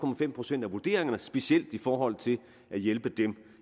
procent af vurderingerne specielt i forhold til at hjælpe dem